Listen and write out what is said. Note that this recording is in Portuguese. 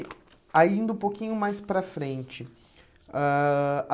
Aí indo um pouquinho mais para frente. Ãh